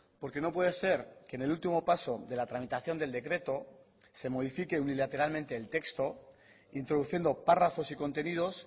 porque no puede ser que en el último paso de la tramitación del decreto se modifique unilateralmente el texto introduciendo párrafos y contenidos